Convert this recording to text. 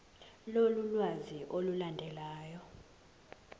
lolu lwazi olulandelayo